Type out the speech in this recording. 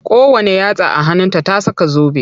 Kowanne yatsa a hannunta ta saka zobe.